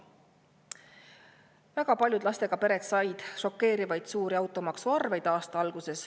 Väga paljud lastega pered said aasta alguses šokeerivalt suure automaksuarve.